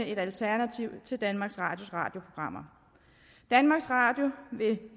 et alternativ til danmarks radios radioprogrammer danmarks radio vil